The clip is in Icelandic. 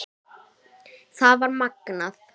Það var magnað.